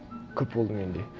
көп болды менде